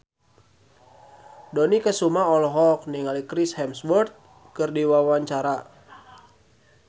Dony Kesuma olohok ningali Chris Hemsworth keur diwawancara